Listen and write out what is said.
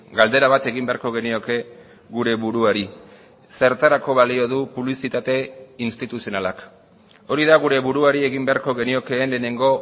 galdera bat egin beharko genioke gure buruari zertarako balio du publizitate instituzionalak hori da gure buruari egin beharko geniokeen lehenengo